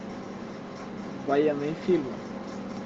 военные фильмы